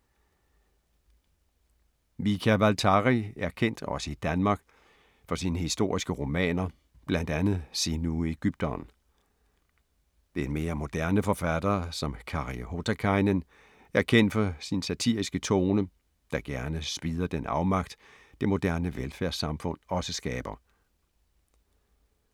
Mika Waltari er kendt, også i Danmark, for sine historiske romaner, blandt andet Sinuhe ægypteren. En mere moderne forfatter som Kari Hotakainen er kendt for sin satiriske tone, der gerne spidder den afmagt det moderne velfærdssamfund også skaber.